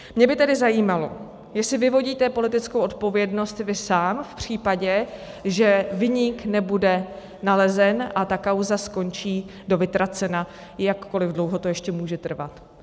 Mě by tedy zajímalo, jestli vyvodíte politickou odpovědnost vy sám v případě, že viník nebude nalezen a ta kauza skončí do vytracena, jakkoliv dlouho to ještě může trvat.